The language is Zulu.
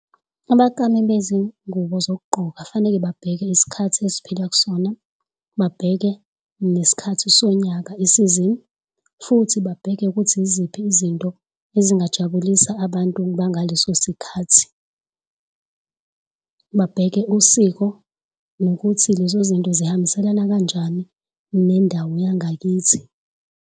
Abaklami bezingubo zokugqoka kufanele babheke isikhathi esiphila kusona, babheke nesikhathi sonyaka isizini, futhi babheke ukuthi yiziphi izinto ezingajabulisa abantu bangaleso sikhathi babheke usiko nokuthi lezo zinto zihambiselana kanjani nendawo yangakithi.